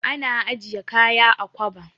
Ana ajiye kaya a kwaba.